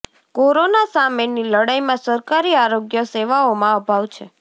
corona સામેની લડાઈમાં સરકારી આરોગ્ય સેવાઓમાં અભાવ છે